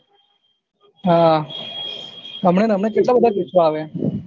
હમ હમણાં ને હમણાં કેટલા બધા કેસો આવ્યા